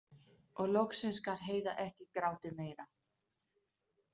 Og loksins gat Heiða ekki grátið meira.